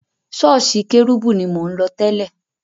Sọ́ọ́sì kérúbù ni mo ń lọ tẹ́lẹ̀.